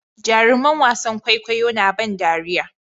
Jaruman wasan kwaikwayo na ban dariya